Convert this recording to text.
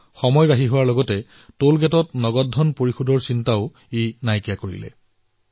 ইয়াৰ দ্বাৰা সময় ৰাহি হোৱাৰ লগতে টোল প্লাজাত ৰোৱা নগদ লেনদেনৰ দৰে সমস্যাৰ অন্ত পৰিছে